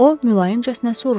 O mülayimcəsinə soruşdu.